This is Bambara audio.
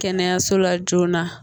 Kɛnɛyaso la joona